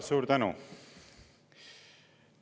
Suur tänu!